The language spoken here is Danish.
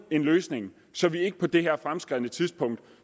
en løsning så vi ikke på det her fremskredne tidspunkt